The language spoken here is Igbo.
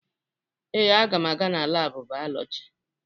Ee, aga m aga na laabụ bayolọjị.